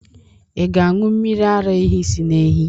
Ị ga-aṅụ mmiri ara ehi si na ehi?